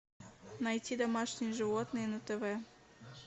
найти домашние животные на тв